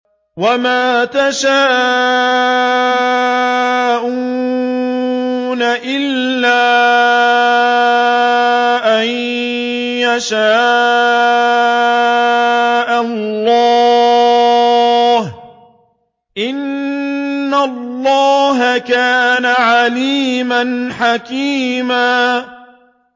وَمَا تَشَاءُونَ إِلَّا أَن يَشَاءَ اللَّهُ ۚ إِنَّ اللَّهَ كَانَ عَلِيمًا حَكِيمًا